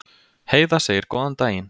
Heiða segir góðan daginn!